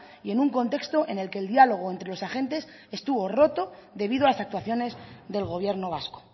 y en un contexto en el que el diálogo entre los agentes estuvo roto debido a las actuaciones del gobierno vasco